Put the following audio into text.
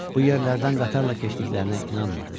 Bu yerlərdən qatarla keçdiklərinə inanmırdı.